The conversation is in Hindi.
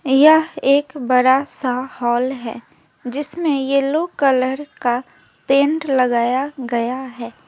यह एक बड़ा सा हॉल है जिसमें येलो कलर का पेंट लगाया गया है।